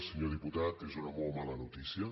senyor diputat és una molt mala notícia